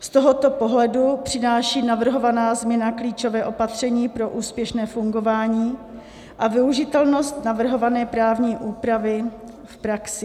Z tohoto pohledu přináší navrhovaná změna klíčové opatření pro úspěšné fungování a využitelnost navrhované právní úpravy v praxi.